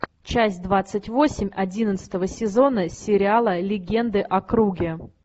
часть двадцать восемь одиннадцатого сезона сериала легенды о круге